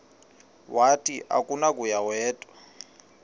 wathi akunakuya wedw